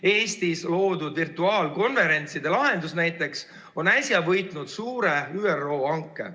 Eestis loodud virtuaalkonverentside lahendus võitis näiteks äsja suure ÜRO hanke.